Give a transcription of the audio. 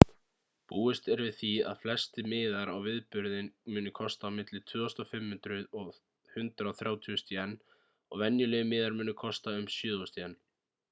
búist er við því að flestir miðar á viðburðinn muni kosta á milli 2.500 og 130.000 jen og venjulegir miðar muni kosta um 7.000 jen